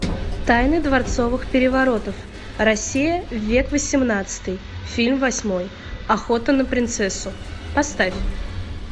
тайны дворцовых переворотов россия век восемнадцатый фильм восьмой охота на принцессу поставь